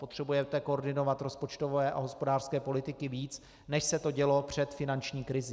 Potřebujete koordinovat rozpočtové a hospodářské politiky víc, než se to dělo před finanční krizí.